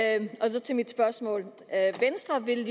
så til mit spørgsmål venstre vil